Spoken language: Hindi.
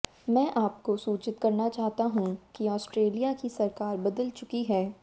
मैं आपको सूचित करना चाहता हूं कि आस्ट्रेलिया की सरकार बदल चुकी है